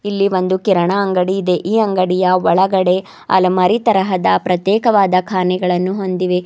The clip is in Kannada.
ಇಲ್ಲಿ ಒಂದು ಕಿರಣ ಅಂಗಡಿ ಇದೆ ಈ ಅಂಗಡಿಯ ಒಳಗಡೆ ಅಲಮಾರಿ ತರಹದ ಪ್ರತ್ಯೇಕವಾದ ಖಾನೆಗಳನ್ನು ಹೊಂದಿವೆ.